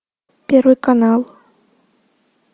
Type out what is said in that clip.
первый канал